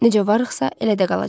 Necə varıqsa, elə də qalacağıq.